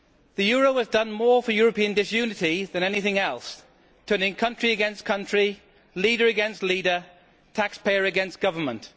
The euro has done more for European disunity than anything else, turning country against country, leader against leader, taxpayer against government.